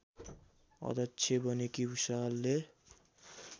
अध्यक्ष बनेकी भुसालले